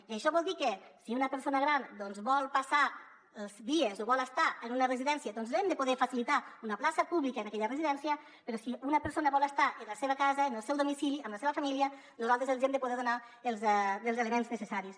i això vol dir que si una persona gran vol passar els dies o vol estar en una residència doncs li hem de poder facilitar una plaça pública en aquella residència però si una persona vol estar en la seva casa en el seu domicili amb la seva família nosaltres li hem de poder donar els elements necessaris